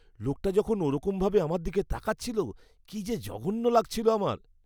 লোকটা যখন ওরকমভাবে আমার দিকে তাকাচ্ছিল, কি যে জঘন্য লাগছিল আমার!